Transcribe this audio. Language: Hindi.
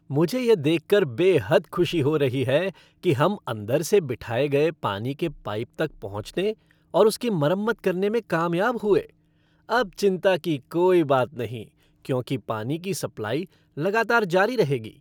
मुझे यह देखकर बेहद खुशी हो रही है कि हम अंदर से बिठाए गए पानी के पाइप तक पहुँचने और उसकी मरम्मत करने में कामयाब हुए, अब चिंता की कोई बात नहीं क्योंकि पानी की सप्लाई लगातार जारी रहेगी।